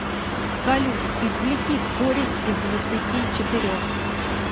салют извлеки корень из двадцати четырех